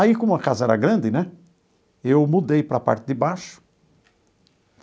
Aí, como a casa era grande né, eu mudei para a parte de baixo.